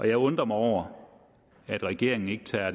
jeg undrer mig over at regeringen ikke tager